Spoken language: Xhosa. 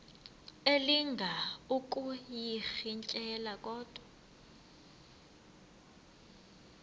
elinga ukuyirintyela kodwa